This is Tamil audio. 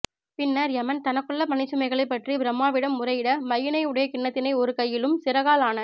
பின்னர் யமன் தனக்குள்ள பணிச்சுமைகளினைப் பற்றி பிரம்மாவிடம் முறையிட மையினை உடைய கிண்ணத்தினை ஒரு கையிலும் சிறகால் ஆன